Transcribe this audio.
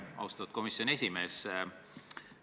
Austatud komisjoni esimees!